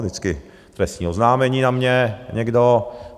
Vždycky trestní oznámení na mě někdo.